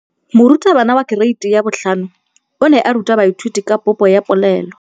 Moratabana wa kereiti ya 5 o ne a ruta baithuti ka popô ya polelô.